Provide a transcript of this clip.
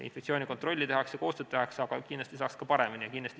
Infektsioonikontrolli tehakse, koostööd tehakse, aga kindlasti saaks paremini.